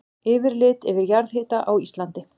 Yfirlit yfir jarðhita á Íslandi.